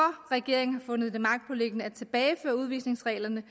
regeringen har fundet det magtpåliggende at tilbageføre udvisningsreglerne